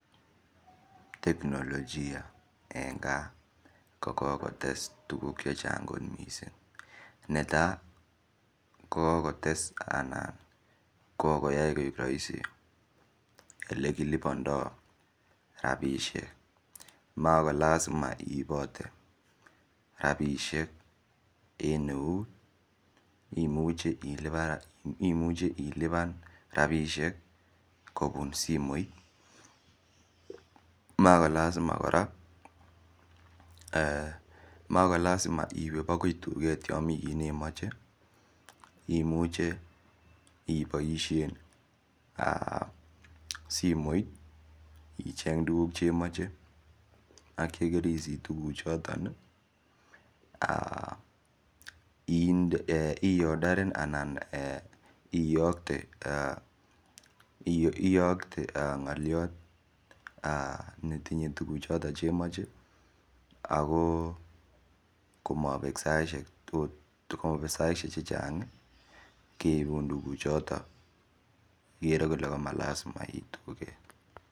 Teknolojia eng gaa ko kokotes tukuk che chang kot mising netai ko kokotes anan kokoyai koek raisi olekilipanda rapishek makolasima iipote rapishek en eut imuche ilipan rapishek kopun simoit makolasima kora iwe akoi tuket yo mikit nemoche imuche iboishen simoit icheny tukuk chemoche akye kerisich tukuk choton i ordaren anan iyokte ngoliot netinye tukuchoto chemoche ako komabek saishek chechang keibun tukuk choton ikere ile komalasima iit tuket.